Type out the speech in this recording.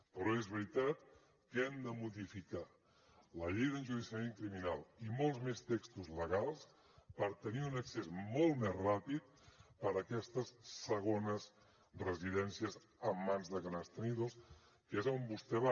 però és veritat que hem de modificar la llei d’enjudiciament criminal i molts més textos legals per tenir un accés molt més ràpid per a aquestes segones residències en mans de grans tenidors que és on vostè va